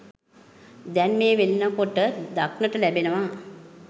දැන් මේ වෙනකොට දක්නට ලැබෙනවා.